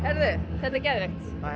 þetta er geðveikt